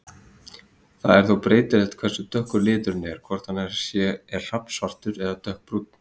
Það er þó breytilegt hversu dökkur liturinn er, hvort hann er hrafnsvartur eða dökkbrúnn.